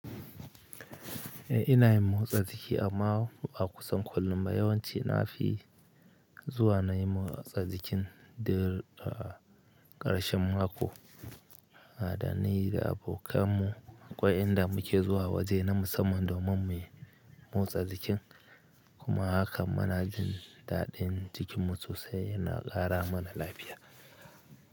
Eh ina yin motsa jiki amma ba kusan kullum ba yawanci na fi zuwa na yi motsa jikin da ƙarshen mako. Da na yi da abokan mu, akwai inda muke zuwa waje na musamman domin mu yi motsa jikin kuma hakan munajin daɗin jikinmu sosai yana ƙara mana lafiya.